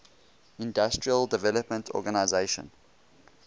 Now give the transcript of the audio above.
industrial development organization